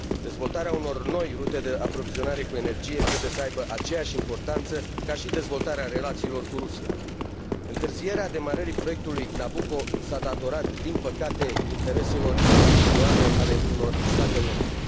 Dezvoltarea unor noi rute de aprovizionare cu energie trebuie să aibă aceeași importanță ca și dezvoltarea relațiilor cu Rusia. Întârzierea demarării proiectului Nabucco s a datorat, din păcate, intereselor individuale ale unor state membre.